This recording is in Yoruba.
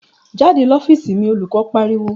"Jáde l'ofiisi mi!" Olùkọ́ pariwo.